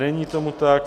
Není tomu tak.